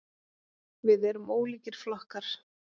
Við erum ólíkir flokkar.